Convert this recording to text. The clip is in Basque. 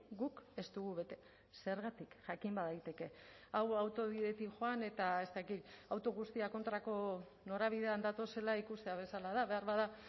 guk ez dugu bete zergatik jakin badaiteke hau autobidetik joan eta ez dakit auto guztiak kontrako norabidean datozela ikustea bezala da beharbada